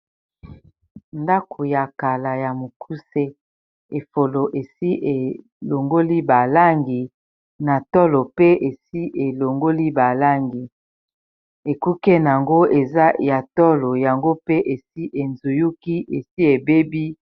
Ndako ya kala ya mokuse efolo esi elongoli balangi na tolo pe esi elongoli balangi ekuke, na yango eza ya tolo yango pe esi ezuyuki esi ebebi